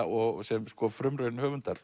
og sem frumraun höfundar